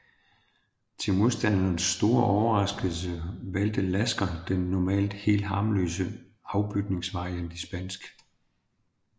Til modstanderens store overraskelse valgte Lasker den normalt helt harmløse afbytningsvariant i spansk